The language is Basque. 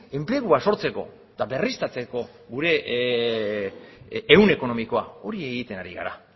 enplegua sortzeko eta berriztatzeko gure ehun ekonomikoa hori egiten ari gara